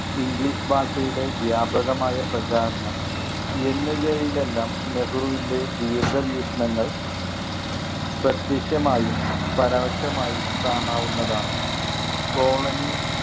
English ഭാഷയുടെ വ്യാപകമായ പ്രചാരണം എന്നിവയിലെല്ലാം നെഹ്രുവിൻ്റെ ദീർഘവീക്ഷണങ്ങൾ പ്രത്യക്ഷമായും പരോക്ഷമായും കാണാവുന്നതാണ്. colony